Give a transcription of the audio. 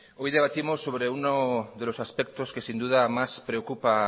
hoy debatimos sobre uno de los aspectos que sin duda más preocupa